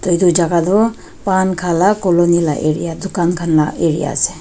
toh edu jaka tu pan khala colony la area dukan khan la area ase.